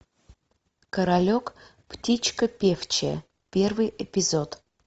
королек птичка певчая первый эпизод